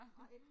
Nej